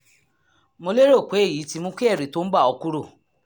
mo lérò pé èyí ti mú kí ẹ̀rù tó ń bà ọ́ kúrò